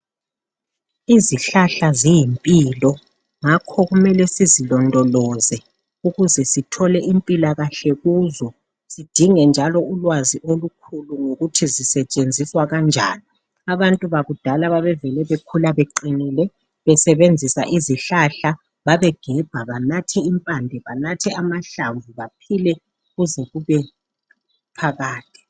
izihlahla ziyimpilo ngakho kumele sizilondoloze ukuze sithole impilaskahle kuzo sidinge njalo ulwazi olukhulu ngokuthi zisetshenziswa kanjani abantu bakudala babevele bekhula beqinile besebenzisa izihlahla babegebha benatha impande benathe amahlamvu baphile kuze kube phakade